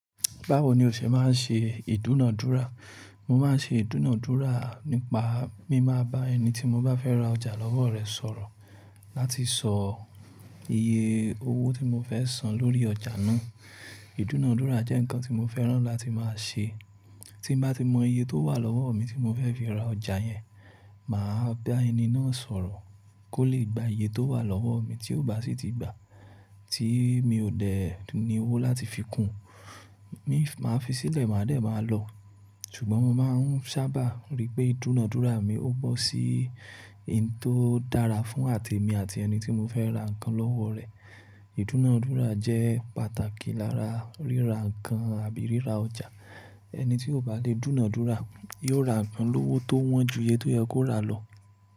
Báwo ni o ṣe máa ń ṣe ìdúnadúrà? Mo máa ń ṣe ìdúnadúrà nípa, mí máa bá ẹni tí mo bá fẹ́ ra ọjà lọ́wọ́ rẹ̀ sọ̀rọ̀ láti sọ iye owó tí mo fẹ́ san lórí ọjà náà. Ìdúnadúrà jẹ́ nǹkan tí mo fẹ́ràn láti máa ṣe. Tí bá ti mọ iye tó wà lọ́wọ́ mi tí mo fẹ́ fi ra ọjà yẹn, màá bá ẹni náà sọ̀rọ̀ kó lè gba iye tó wà lọ́wọ́ mi tí ó bá sì ti gbà tí mi ò dẹ ní owó láti fi kún un, mi máa fi sílẹ̀, màá dẹ̀ máa lọ. Ṣùgbọ́n mo máa ń sábà rí pé ìdúnadúrà mi ó bọ́ sí i tó dára fún àti èmi àti ẹni tí mo fẹ́ ra nǹkan lọ́wọ́ rẹ̀. Ìdúnadúrà jẹ́ pàtàkì lára ríra nǹkan àbí ríra ọjà. Ẹni tí kò bá le dúnadúrà yóò ra nǹkan lówó tó wọ́n ju iye tó yẹ kó ra lọ.